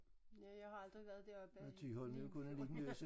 Ja jeg har aldrig været deroppe i Limfjorden